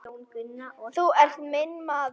Þú ert minn maður.